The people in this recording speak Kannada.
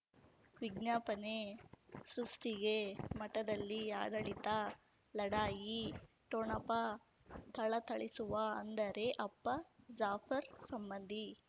ವಿಜ್ಞಾಪನೆ ಸೃಷ್ಟಿಗೆ ಮಠದಲ್ಲಿ ಆಡಳಿತ ಲಢಾಯಿ ಠೊಣಪ ಥಳಥಳಿಸುವ ಅಂದರೆ ಅಪ್ಪ ಜಾಫರ್ ಸಂಬಂಧಿ